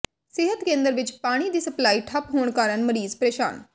ਸਿਹਤ ਕੇਂਦਰ ਵਿੱਚ ਪਾਣੀ ਦੀ ਸਪਲਾਈ ਠੱਪ ਹੋਣ ਕਾਰਨ ਮਰੀਜ਼ ਪ੍ਰੇਸ਼ਾਨ